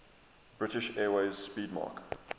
british airways 'speedmarque